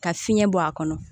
Ka fiɲɛ bɔ a kɔnɔ